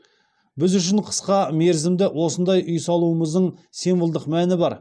біз үшін қысқа мерзімде осындай үй салуымыздың символдық мәні бар